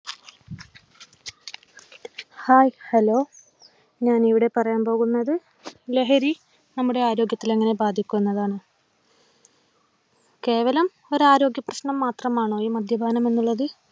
hi hello ഞാൻ ഇവിടെ പറയാൻ പോകുന്നത് ലഹരി നമ്മുടെ ആരോഗ്യത്തിൽ എങ്ങനെ ബാധിക്കും എന്നതാണ് കേവലം ഒരു ആരോഗ്യ പ്രശ്നം മാത്രമാണോ ഈ മദ്യപാനം എന്നുള്ളത്